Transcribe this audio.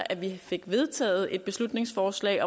af de fem beslutningsforslag